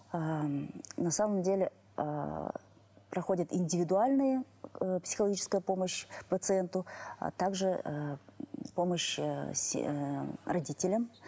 ыыы на самом деле ы проходит индивидуальная ы психологическая помощь пациенту а так же ыыы помощь ы ыыы родителям